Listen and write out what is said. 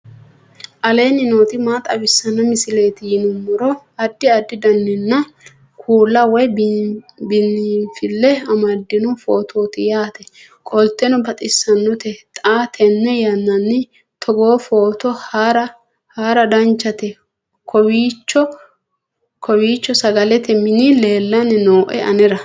aleenni nooti maa xawisanno misileeti yinummoro addi addi dananna kuula woy biinfille amaddino footooti yaate qoltenno baxissannote xa tenne yannanni togoo footo haara danchate kowiicho sagalete mini leellanni nooe anera